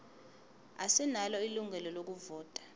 asinalo ilungelo lokuvota